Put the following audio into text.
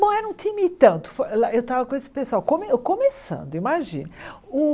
Bom, era um time e tanto, fo lá eu estava com esse pessoal, come eu começando, imagine.